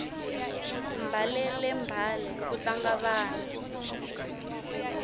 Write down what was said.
mbalele mbale ku tlanga vana